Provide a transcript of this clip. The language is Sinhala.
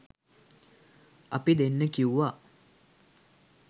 අපි දෙන්න කිව්වා